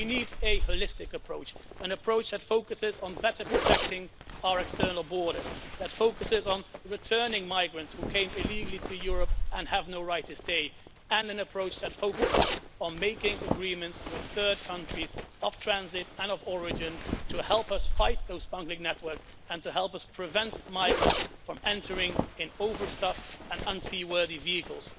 We need a holistic approach an approach that focuses on better protecting our external borders, that focuses on returning migrants who came illegally to Europe and have no right to stay and an approach that focuses on making agreements with third countries of transit and of origin to help us fight those smuggling networks and to help us prevent migrants from entering in overstuffed and unseaworthy vehicles.